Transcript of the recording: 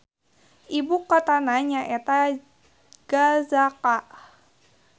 Ibu kotana nyaeta Gazaca.